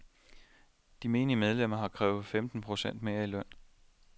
De menige medlemmer har krævet til femten procent mere i løn.